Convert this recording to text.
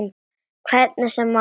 Hvernig sem á stóð.